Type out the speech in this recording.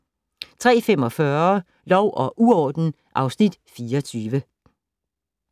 03:45: Lov og uorden (Afs. 24)